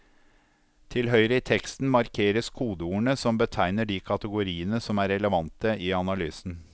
Til høyre i teksten markeres kodeordene som betegner de kategoriene som er relevante i analysen.